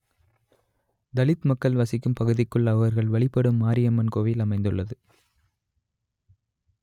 தலித் மக்கள் வசிக்கும் பகுதிக்குள் அவர்கள் வழிபடும் மாரியம்மன் கோவில் அமைந்துள்ளது